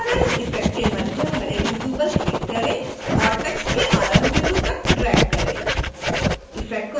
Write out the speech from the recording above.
spherize effect के मध्य हरे बिंदु पर क्लिक करें और टेक्स्ट के आरंभ बिंदु तक ड्रैग करें